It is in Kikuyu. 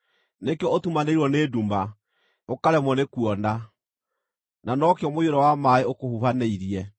nĩkĩo ũtumanĩirwo nĩ nduma, ũkaremwo nĩkuona, na nokĩo mũiyũro wa maaĩ ũkũhubanĩirie.